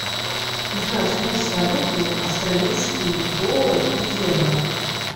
узнать курс валюты австралийский доллар и евро